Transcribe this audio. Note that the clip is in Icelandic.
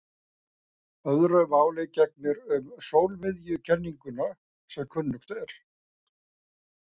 Öðru máli gegnir um sólmiðjukenninguna sem kunnugt er.